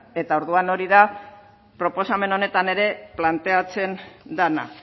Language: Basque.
eta orduan hori da proposamen honetan ere planteatzen dena